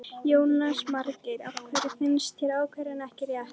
Jónas Margeir: Af hverju finnst þér ákvörðunin ekki rétt?